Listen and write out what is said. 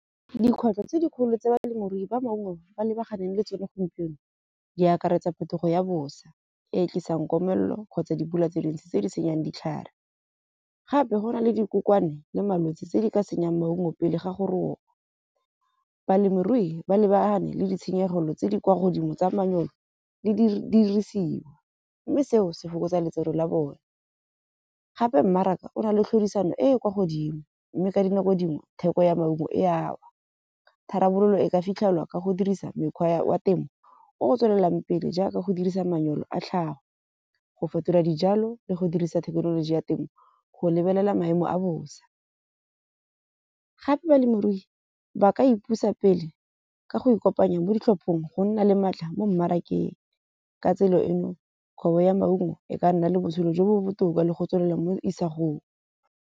Dikgwetlho tse dikgolo tse balemirui ba maungo ba lebaganeng le tsone gompieno di akaretsa phetogo ya bosa, e tlisang komelelo kgotsa dipula tse dintsi tse di senyang ditlhare. Gape go na le dikokwana le malwetsi tse di ka senyang maungo pele ga gore o balemirui ba lebane le ditshenyegelo tse di kwa godimo tsa manyalo le di dirisiwa. Mme seo se fokotsa letseno la bone gape mmaraka o na le tlhodisano e e kwa godimo. Mme ka dinako dingwe theko ya maungo e a , tharabololo e ka fitlhelelwa ka go dirisa mekgwa wa temo o tswelelang pele. Jaaka go dirisa manyolo a tlhago go fetola dijalo le go dirisa thekenoloji ya temo. Go lebelela maemo a bosa, gape balemirui ba ka ipusa pele ka go e kopanya mo ditlhopheng go nna le maatla mo mmarakeng. Ka tsela eno kgwebo ya maungo e ka nna le botshelo jo bo botoka le go tswelela mo isa go .